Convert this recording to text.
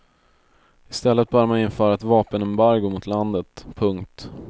I stället bör man införa ett vapenembargo mot landet. punkt